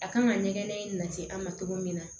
A kan ka ɲɛgɛn in na se an ma cogo min na